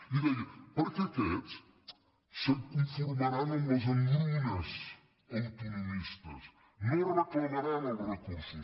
i deia perquè aquests es conformaran amb les engrunes autonomistes no re·clamaran els recursos